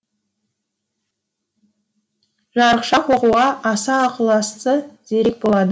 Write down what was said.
жарықшақ оқуға аса ықыласты зерек болады